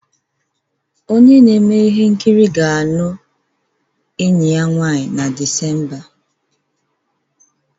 Onye na-eme ihe nkiri ga-alụ enyi ya nwanyị na Disemba.